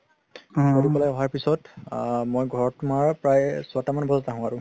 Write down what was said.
কৰি পেলাই আহা পিছত আ মই ঘৰত তুমাৰ প্ৰায় চয়তা মান বজাত আহো আৰু